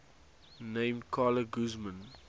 named carla guzman